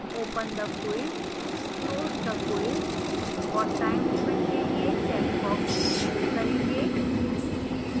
open the quiz close the quiz और time limit के लिए चेकबॉक्स enable करेंगे